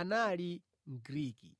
anali Mgriki.